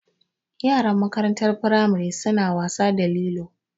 Yaran makarantar firamari su na wasa da lilo